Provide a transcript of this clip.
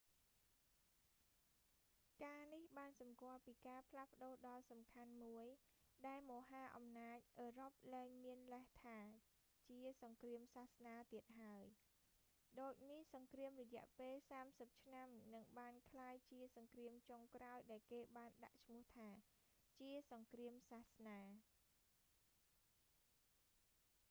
ការនេះបានសំគាល់ពីការផ្លាស់ប្ដូរដ៏សំខាន់មួយ ដែលមហាអំណាចអឺរ៉ុបលែងមានលេសថា ជាសង្គ្រាមសាសនាទៀតហើយ ដូចនេះ សង្គ្រាមរយៈពេលសាមសិបឆ្នាំនឹងបានក្លាយជាសង្គ្រាមចុងក្រោយដែលគេបានដាក់ឈ្មោះថា ជាសង្គ្រាមសាសនា